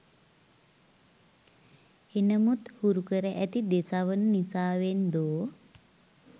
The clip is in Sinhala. එනමුත් හුරුකර ඇති දෙසවන නිසාවෙන්දෝ